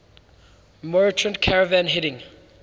merchant caravan heading